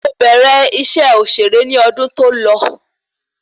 Mo bẹ̀rẹ̀ iṣẹ́ òṣèré ní ọdún tó lọ